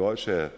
odsherred